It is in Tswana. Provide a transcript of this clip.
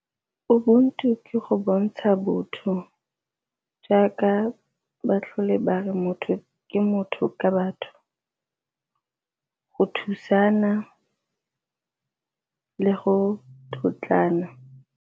Ubuntu ke go bontsha botho jaaka ba tlhole ba re motho ke motho ka batho, go thusana le go tlotlana.